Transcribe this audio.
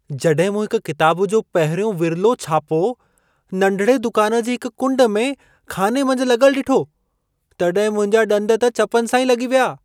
जॾहिं मूं हिक किताब जो पहिरियों विर्लो छापो, नंढिड़े दुकान जी हिक कुंड में ख़ाने मंझि लॻलु ॾिठो, तॾहिं मुंहिंजा डं॒द त चपनि सां ई लॻी विया।